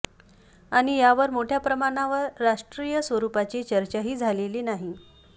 आणि यावर मोठ्या प्रमाणावर राष्ट्रीय स्वरुपाची चर्चाही झालेली नाही